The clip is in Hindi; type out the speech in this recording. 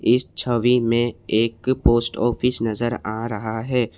इस छवि में एक पोस्ट ऑफिस नजर आ रहा है।